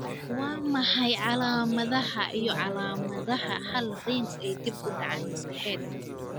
Waa maxay calaamadaha iyo calaamadaha Hall Riggs ee dib u dhac maskaxeed?